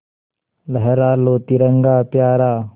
लहरा लो तिरंगा प्यारा